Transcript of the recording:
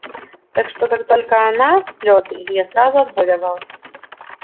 так что как только она в слёзы илья сразу отбой давал